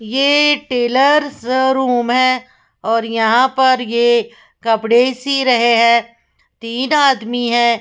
ये tailor's room है र यहाँ पर ये कपड़े सी रहे हैं तीन आदमी है।